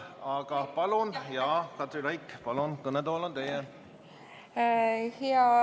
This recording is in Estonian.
Aga palun, Katri Raik, kõnetool on teie!